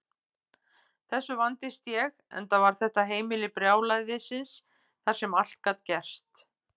Þessu vandist ég, enda var þetta heimili brjálæðisins þar sem allt gat gerst.